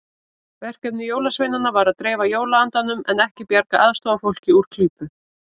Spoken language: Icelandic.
Verkefni jólasveinanna var að dreifa jólaandanum en ekki bjarga aðstoðarfólki úr klípu.